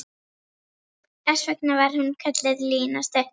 Þess vegna var hún kölluð Lína stutta.